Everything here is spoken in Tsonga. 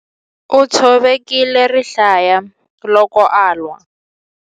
U tshovekile rihlaya loko a lwa.